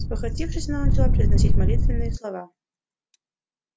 спохватившись она начала произносить молитвенные слова